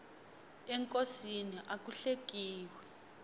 enkosini aku hlekiwi